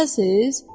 Təzəsiz?